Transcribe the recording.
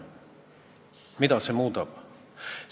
Mida see muudab?